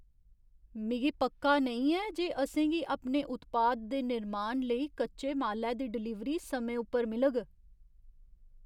मिगी पक्का नेईं ऐ जे असेंगी अपने उत्पाद दे निर्माण लेई कच्चे मालै दी डलीवरी समें उप्पर मिलग।